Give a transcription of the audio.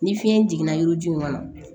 Ni fiɲɛ jiginna yiri ju in kɔnɔ